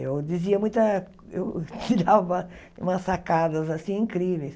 Eu dizia muita eu tirava umas sacadas assim incríveis.